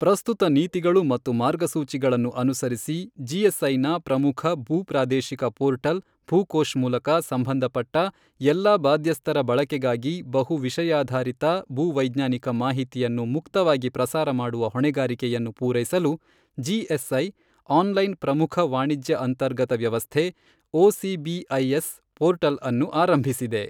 ಪ್ರಸ್ತುತ ನೀತಿಗಳು ಮತ್ತು ಮಾರ್ಗಸೂಚಿಗಳನ್ನು ಅನುಸರಿಸಿ ಜಿಎಸ್ಐನ ಪ್ರಮುಖ ಭೂ ಪ್ರಾದೇಶಿಕ ಪೋರ್ಟಲ್ ಭೂಕೋಶ್ ಮೂಲಕ ಸಂಬಂಧಪಟ್ಟ ಎಲ್ಲಾ ಬಾಧ್ಯಸ್ಥರ ಬಳಕೆಗಾಗಿ ಬಹು ವಿಷಯಾಧಾರಿತ ಭೂವೈಜ್ಞಾನಿಕ ಮಾಹಿತಿಯನ್ನು ಮುಕ್ತವಾಗಿ ಪ್ರಸಾರ ಮಾಡುವ ಹೊಣೆಗಾರಿಕೆಯನ್ನು ಪೂರೈಸಲು ಜಿಎಸ್ಐ ಆನ್ ಲೈನ್ ಪ್ರಮುಖ ವಾಣಿಜ್ಯ ಅಂತರ್ಗತ ವ್ಯವಸ್ಥೆ ಒಸಿಬಿಐಎಸ್ ಪೋರ್ಟಲ್ ಅನ್ನು ಆರಂಭಿಸಿದೆ.